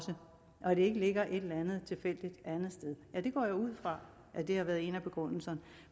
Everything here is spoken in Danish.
ikke ligger et eller andet tilfældigt andet sted jeg går ud fra at det har været en af begrundelserne